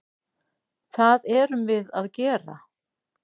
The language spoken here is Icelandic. Það erum við að gera.